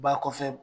Ba kɔfɛ